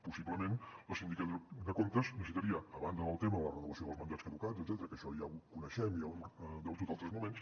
possiblement la sindicatura de comptes necessitaria a banda del tema de la renovació dels mandats caducats etcètera que això ja ho coneixem i ja ho hem debatut altres moments